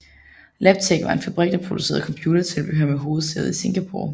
Labtec var en fabrik der producerede computertilbehør med hovedsæde i Singapore